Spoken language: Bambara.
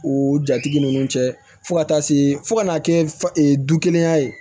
O jatigi ninnu cɛ fo ka taa se fo ka n'a kɛ fa ɛ du kelenya ye